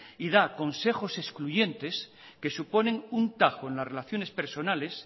y da consejos excluyentes que suponen un tajo en las relaciones personales